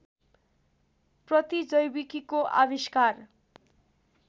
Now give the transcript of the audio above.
प्रतिजैविकीको आविष्कार